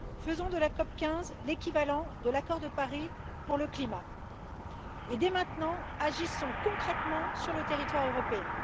Faisons de la COP 15 l'équivalent de l'accord de Paris pour le climat et, dès maintenant, agissons concrètement sur le territoire européen.